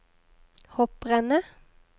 hopprennet